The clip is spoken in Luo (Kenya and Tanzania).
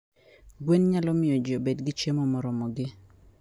Gwen nyalo miyo ji obed gi chiemo moromogi.